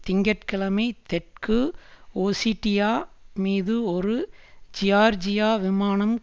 திங்க கிழமை தெற்கு ஒசிட்டியா மீது ஒரு ஜியார்ஜிய விமானம்